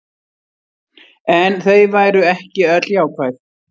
En þau væru ekki öll jákvæð